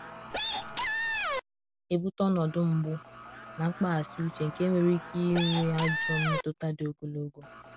ọna ebuta ọnọdụ mgbụ na mkpaghasi uche nke nwere ike nwe ajọ mmetuta di ogologo